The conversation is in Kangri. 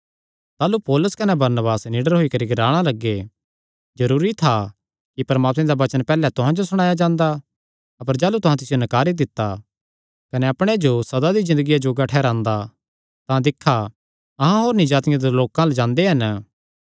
ताह़लू पौलुस कने बरनबास निडर होई करी ग्लाणा लग्गे जरूरी था कि परमात्मे दा वचन पैहल्ले तुहां जो सणाया जांदा अपर जाह़लू तुहां तिसियो नकारी दित्ता कने अपणे जो सदा दी ज़िन्दगिया जोग्गा ठैहरांदे तां दिक्खा अहां होरनी जातिआं दे लोकां अल्ल जांदे हन